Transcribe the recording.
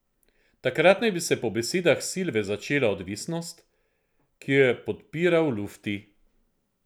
Takrat naj bi se po besedah Silve začela odvisnost, ki jo je podpiral Lutfi.